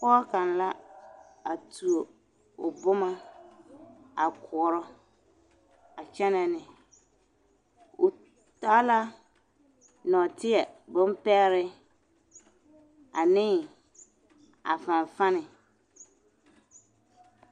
Pɔge kaŋ la a tuo o boma a koɔrɔ a kyɛnɛ ne o taa la nɔɔteɛ bompɛgre ane a fanfani.